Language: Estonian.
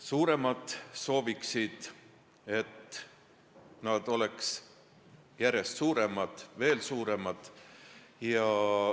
Suuremad sooviksid, et nad oleks järjest suuremad, veel suuremad.